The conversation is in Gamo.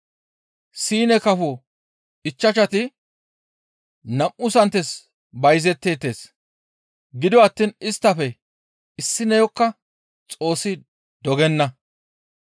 «Siine kafo ichchashati nam7u santes bayzetteettes; gido attiin isttafe issineyokka Xoossi dogenna.